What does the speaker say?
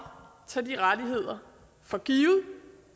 tage de rettigheder for givet